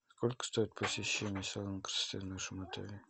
сколько стоит посещение салона красоты в нашем отеле